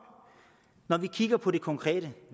når vi kigger på det konkrete